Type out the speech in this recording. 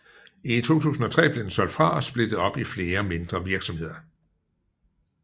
I 2003 blev den solgt fra og splittet op i flere mindre virksomheder